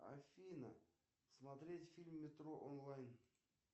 афина смотреть фильм метро онлайн